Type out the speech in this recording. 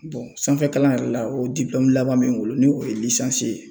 sanfɛkalan yɛrɛ la o laban be n bolo ni o ye ye.